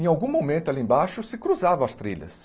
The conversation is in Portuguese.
Em algum momento, ali embaixo, se cruzavam as trilhas.